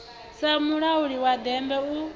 sa mulauli wa bennde u